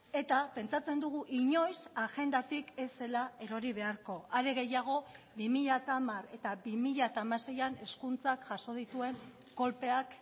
eta pentsatzen dugu inoiz agendatik ez zela erori beharko are gehiago bi mila hamar eta bi mila hamaseian hezkuntzak jaso dituen kolpeak